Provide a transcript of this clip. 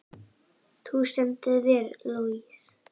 Þú stendur þig vel, Louise!